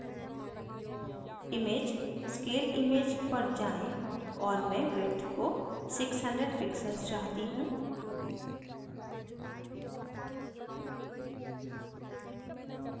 image/scale image पर जाएँ और मैं width को 600 pixels चाहती हूँ